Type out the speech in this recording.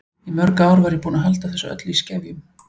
Í mörg ár var ég búin að halda þessu öllu í skefjum.